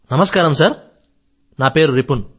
నమస్కారం సర్ నా పేరు రిపున్